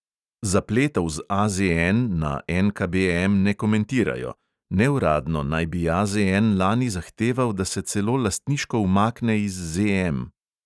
Zapletov z AZN na NKBM ne komentirajo; neuradno naj bi AZN lani zahteval, da se celo lastniško umakne iz ZM.